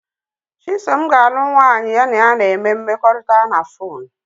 Chisom ga-alụ nwanyị ya na ya na-eme mmekọrịta na fonu